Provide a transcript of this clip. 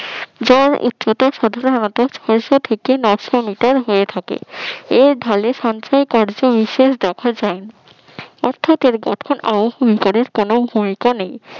এর উচ্চতা সাধারণত দেড়শ থেকে নয়শ মিটার হয়ে থাকে, এর ঢালে সঞ্চয় কার্য বিশেষ দেখা যায়, অর্থাৎ এর গঠন অনুসারে কোন ভূমিকা নেই